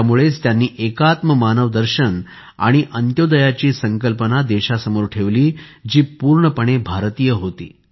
त्यामुळेच त्यांनी एकात्म मानवदर्शन आणि अंत्योदयाची संकल्पना देशासमोर ठेवली जी पूर्णपणे भारतीय होती